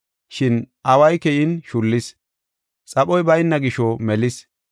Shin away keyin shullis; xaphoy bayna gisho melis.